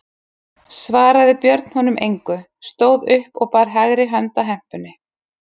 Svaraði Björn honum engu, stóð upp og bar hægri hönd að hempunni.